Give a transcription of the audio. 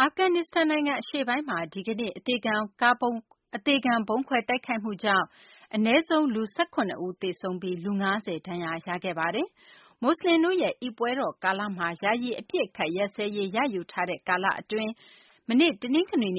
အာဖဂန်နစ္စတန် နိုင်ငံ အရှေ့ပိုင်းမှာ ဒီကနေ့ အသေခံဗုံးခွဲ တိုက်ခိုက်မှုကြောင့် အနည်းဆုံး လူ ၁၇ ဦး သေဆုံးပြီး လူ ၅၀ ဒဏ်ရာရခဲ့ပါတယ်။ မွတ်စလင်တို့ရဲ့ အိဒ် ပွဲတော် ကာလမှာ ယာယီ အပစ်အခတ် ရပ်စဲရေး ရယူထားတဲ့ ကာလ အတွင်း မနေ့တုန်းကလည်း အဲ